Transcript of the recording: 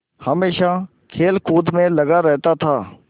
हमेशा खेलकूद में लगा रहता था